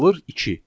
Alır iki.